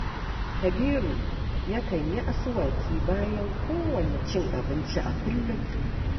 Kabiru yakan yi asuwaki bayan kowanne cin abinci a kullum